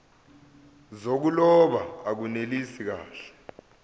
zokuloba akunelisi kahle